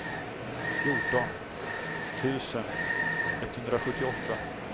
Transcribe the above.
fjorton tusen etthundrasjuttioåtta